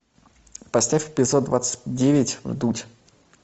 поставь эпизод двадцать девять вдудь